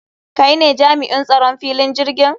Kai ne jami'in tsaron filin jirgin?